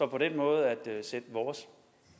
på den måde kan sætte vores